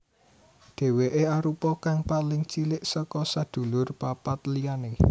Dèwèké arupa kang paling cilik saka sedulur papat liyané